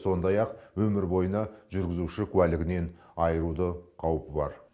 сондай ақ өмір бойына жүргізуші куәлігінен айыруды қаупі бар